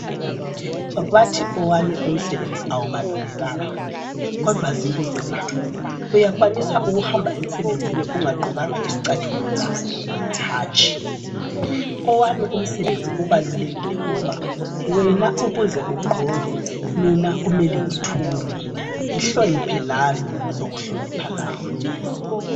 Bathi owami umsebenzi awubalulekanga kodwa zibuze la: uyakwanisa ukuhamba emsebenzini ungagqokanga izicathulo na? Hatshi. Owami umsebenzi ubalulekile ngoba wena ukuze ugqoke, mina kumele ngithunge. Ngihloniphe lami, ngizokuhlonipha lawe.